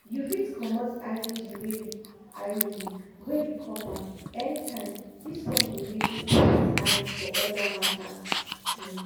you fit comot iud wey be iud wey be copper anytime this one go make you put eyes for other matters. um